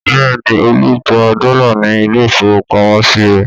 Bẹ́ẹ̀ ni, Olú gba dọ́là ní ilé-ìfowópamọ́sí rẹ̀.